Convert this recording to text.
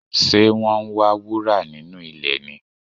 Ṣe wọ́n ń wá wúrà nínú ilẹ̀ ni?